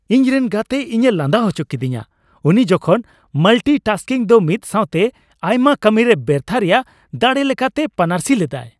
ᱤᱧᱨᱮᱱ ᱜᱟᱛᱮ ᱤᱧᱮ ᱞᱟᱸᱫᱟ ᱦᱚᱪᱚ ᱠᱤᱫᱤᱧᱟ ᱩᱱᱤ ᱡᱚᱠᱷᱚᱱ ᱢᱟᱞᱴᱤᱼᱴᱟᱥᱠᱤᱝ ᱫᱚ ᱢᱤᱫ ᱥᱟᱣᱛᱮ ᱟᱭᱢᱟ ᱠᱟᱹᱢᱤᱨᱮ ᱵᱮᱨᱛᱷᱟᱹ ᱨᱮᱭᱟᱜ ᱫᱟᱲᱮ ᱞᱮᱠᱟᱛᱮᱭ ᱯᱟᱹᱱᱟᱹᱨᱥᱤ ᱞᱮᱫᱟ ᱾